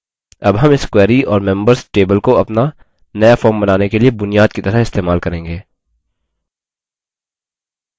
अब हम इस query और members table को अपना now form बनाने के लिए बुनियाद की तरह इस्तेमाल करेंगे